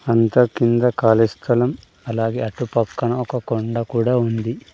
అంతా కింద కాళీ స్థలం అలాగే అటుపక్కన ఒక కొండ కూడా ఉంది.